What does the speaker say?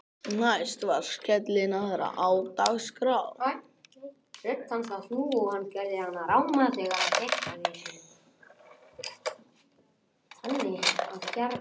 Næst var skellinaðra á dagskrá.